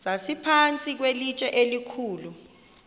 sasiphantsi kwelitye elikhulu